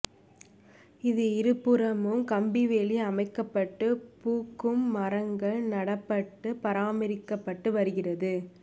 இது இருபுறமும் கம்பிவேலி அமைக்கப்பட்டு பூக்கும் மரங்கள் நடப்பட்டு பராமரிக்கபட்டு வருகிறது